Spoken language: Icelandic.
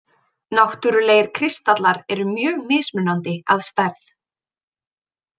Náttúrlegir kristallar eru mjög mismunandi að stærð.